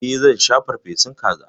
E, zan sha farfesun kaza.